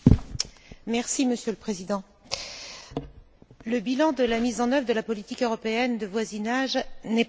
Monsieur le Président, le bilan de la mise en œuvre de la politique européenne de voisinage n'est pas surprenant.